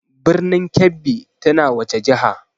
Birnin Kebbi tana wace jiha?